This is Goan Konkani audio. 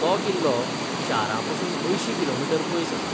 तो किल्लो शारापसून अंयशी कि.मी. पयस आसा.